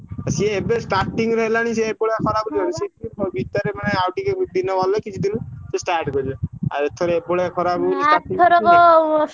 ସିଏ ଏବେ starting ରୁ ହେଲାଣି ସିଏ ଏଭଳିଆ ଖରାକୁ ଭିତରେ ମାନେ ଆଉ ଟିକେ ଦିନ ଗଲେ କିଛି ଦିନ ସିଏ start କରିବେ। ଆଉ ଏଥର ଏଭଳିଆ ଖରା ହବ ବୋଲି